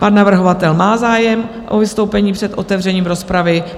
Pan navrhovatel má zájem o vystoupení před otevřením rozpravy.